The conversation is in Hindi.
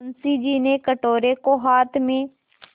मुंशी जी ने कटोरे को हाथ में